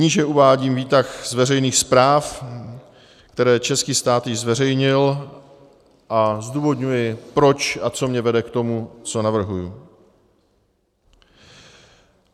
Níže uvádím výtah z veřejných zpráv, které český stát již zveřejnil, a zdůvodňuji, proč a co mne vede k tomu, co navrhuji.